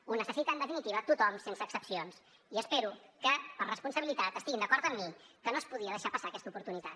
ho necessita en definitiva tothom sense excepcions i espero que per responsabilitat estiguin d’acord amb mi que no es podia deixar passar aquesta oportunitat